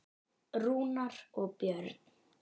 Rúnar og Björn.